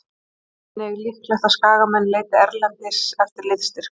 Sjá einnig: Líklegt að Skagamenn leiti erlendis eftir liðsstyrk